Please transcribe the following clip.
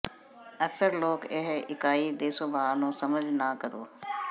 ਅਕਸਰ ਲੋਕ ਇਹ ਇਕਾਈ ਦੇ ਸੁਭਾਅ ਨੂੰ ਸਮਝ ਨਾ ਕਰੋ